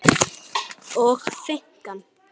og finkan?